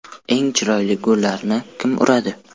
Eng chiroyli gollarni kim uradi?